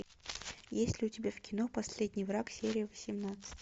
есть ли у тебя в кино последний враг серия восемнадцать